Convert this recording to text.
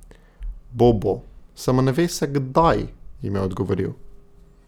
Bo, bo, samo ne ve se, kdaj, jim je odgovoril.